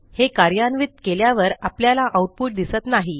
हे कार्यान्वित केल्यावर आपल्याला आऊटपुट दिसत नाही